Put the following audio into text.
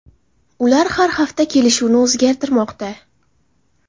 Ular har hafta kelishuvni o‘zgartirmoqda.